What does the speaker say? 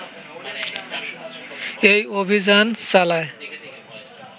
এই অভিযান চালায়